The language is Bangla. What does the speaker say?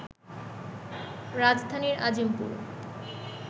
রাজধানীর আজিমপুর